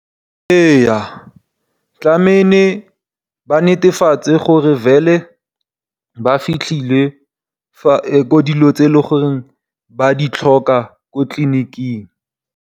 Ee tlameile ba netefatse gore ba fitlhetse dilo tse e le goreng ba ditlhoka ko tlliniking.